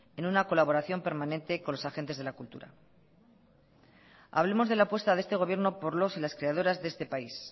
en una colaboración permanente de la cultura hablemos de la apuesta de este gobierno por los y las creadoras de este país